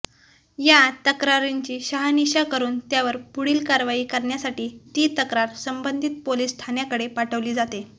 या तक्रारींची शहानिशा करून त्यावर पुढील कारवाई करण्यासाठी ती तक्रार संबंधित पोलिस ठाण्याकडे पाठवली जाते